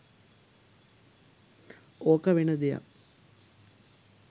ඕක වෙන දෙයක්.